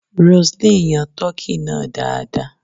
Roseline yan tọ́kì náà dáadáa.